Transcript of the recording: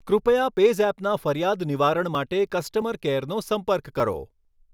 કૃપયા પૅઝેપના ફરિયાદ નિવારણ માટે કસ્ટમર કેરનો સંપર્ક કરો